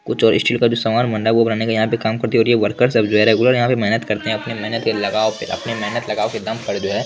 कुछ और स्टील का जो सामान बन रहा है वो बनाने का यहां पे काम करती है और ये वर्कर सब जो है रेगुलर यहां पे मेहनत करते है अपने मेहनत के लगाव अपने मेहनत लगाव के दम पर जो है।